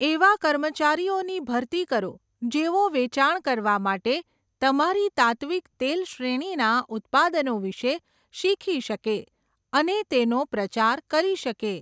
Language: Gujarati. એવા કર્મચારીઓની ભરતી કરો જેઓ વેચાણ કરવા માટે તમારી તાત્ત્વિક તેલ શ્રેણીના ઉત્પાદનો વિશે શીખી શકે અને અને તેનો પ્રચાર કરી શકે.